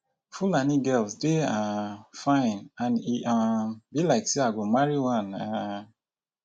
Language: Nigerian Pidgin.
fulani girls dey um fine and e um be like say i go marry one um